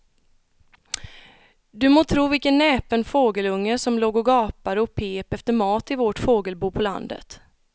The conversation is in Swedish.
Du må tro vilken näpen fågelunge som låg och gapade och pep efter mat i vårt fågelbo på landet.